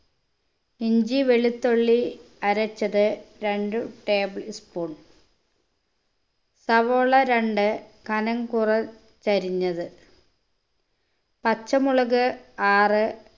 ഇഞ്ചി വെളുത്തുള്ളി അരച്ചത് രണ്ട് table spoon സവോള രണ്ട് കനം കുറച്ചരിഞ്ഞത് പച്ചമുളക് ആറ്